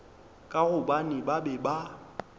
ka gobane ba be ba